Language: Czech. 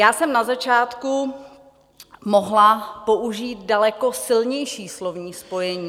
Já jsem na začátku mohla použít daleko silnější slovní spojení.